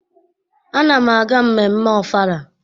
Ana m aga mmemme Ọfala.